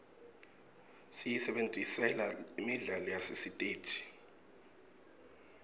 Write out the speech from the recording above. siyisebentisela imidlalo yasesiteji